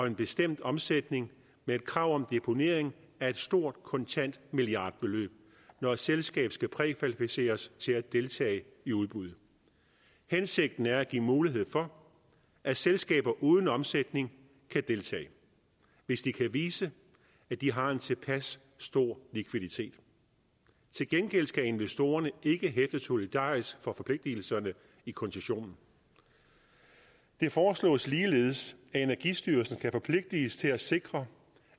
en bestemt omsætning med et krav om deponering af et stort kontant milliardbeløb når et selskab skal prækvalificeres til at deltage i udbud hensigten er at give mulighed for at selskaber uden omsætning kan deltage hvis de kan vise at de har en tilpas stor likviditet til gengæld skal investorerne ikke hæfte solidarisk for forpligtelserne i koncessionen det foreslås ligeledes at energistyrelsen skal forpligtes til at sikre